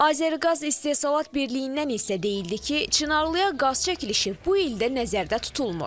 Azəriqaz İstehsalat Birliyindən isə deyildi ki, Çınarlıya qaz çəkilişi bu ildə nəzərdə tutulmur.